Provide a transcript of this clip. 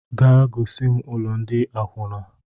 Gaa gosim ụlọ ndị akwuna!